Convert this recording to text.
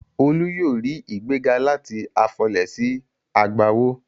Olú yóò rí ìgbéga láti afọlẹ̀ sí agbawó.